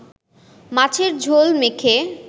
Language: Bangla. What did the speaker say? মাছের ঝোল মেখে